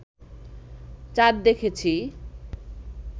চাঁদ দেখেছি